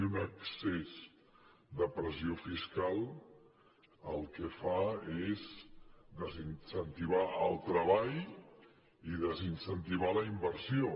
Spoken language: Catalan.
i un excés de pressió fiscal el que fa és desincentivar el treball i desincentivar la inversió